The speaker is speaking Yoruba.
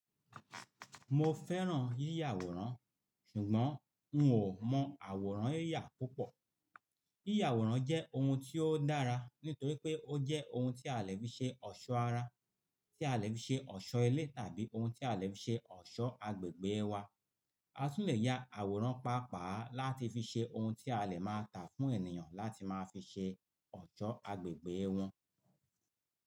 Mo fẹ́ràn yíyà àwòrán ṣùgbọ́n n ò mọ àwòrán yíyà púpọ̀. Yíyà àwòrán jẹ́ ohun tí ó dára nítorí pé ó jẹ́ ohun tí a lè fi ṣe ọ̀ṣọ́ ara, tí a lè fi ṣe ọ̀ṣọ́ ilé tàbí ohun tí a lè fi ṣe ọ̀ṣọ́ agbègbè wa. A tún lè ya àwòrán paapaa láti fi ṣe ohun tí a lè máa tà fún ènìyàn láti máa fi ṣe ọ̀ṣọ́ agbègbè wọn.